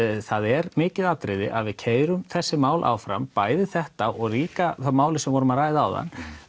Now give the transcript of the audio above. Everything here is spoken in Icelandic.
það er mikið atriði að við keyrum þessi mál áfram bæði þetta og líka málið sem við vorum að ræða áðan